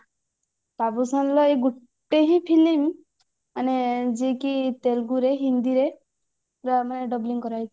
ବାବୁସାନ ର ଏଇ ଗୋଟେ ହିଁ film ଆମେ ଯେକି ତେଲଗୁ ରେ ହିନ୍ଦୀ ରେ ମାନେ dabbling କରାଯାଇଛି